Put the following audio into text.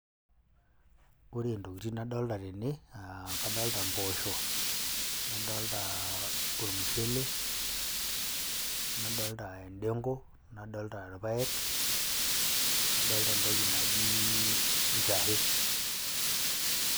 Ore ntokitin nadolta tene aa kadolta mpoosho, nadoltaa ormushele nadolta endeng'u, nadolta irpaek, nadolta entoki naji njahe.